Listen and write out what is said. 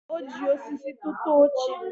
o ji osisi tụta oche.